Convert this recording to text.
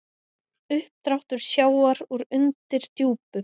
Uppdráttur sjávar úr undirdjúpum